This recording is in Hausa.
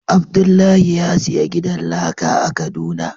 Abdullahi ya siya gidan laka a kaduna.